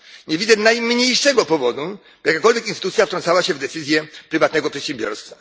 Nie widzę najmniejszego powodu, żeby jakakolwiek instytucja wtrącała się w decyzje prywatnego przedsiębiorstwa.